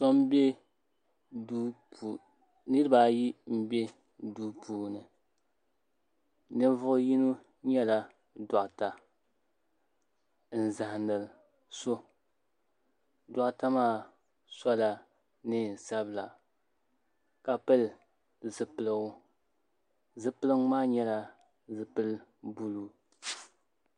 Niriba ayi m be duu puuni ninvuɣ yino nyɛla dɔɣita n zahindi so dɔɣita maa sɔla neen sabila ka pili zupilgu zupilgu maa nyɛla zupil buluu